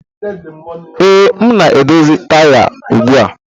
Ee, m na-edozi taya ugbu a